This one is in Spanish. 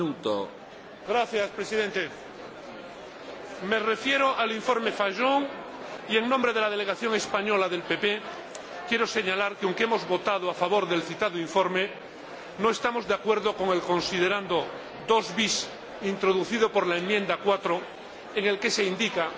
Señor Presidente, me refiero al informe Fajon en nombre de la delegación española del Grupo PPE, quiero señalar que, aunque hemos votado a favor del citado informe, no estamos de acuerdo con el considerando 2 bis, introducido por la enmienda 4, en el que se indica